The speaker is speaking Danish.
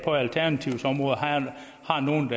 alternativet er nogle